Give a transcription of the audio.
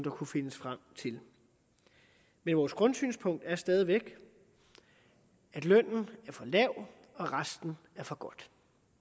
kunne findes frem til men vores grundsynspunkt er stadig væk at lønnen er for lav og resten er for godt